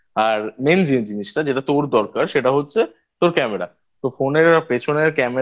আর Main যে জিনিসটা যেটা তোর দরকার সেটা হচ্ছে তোর দরকার সেটা হচ্ছে তোর Camera তোর Phone এর পেছনের Camera টা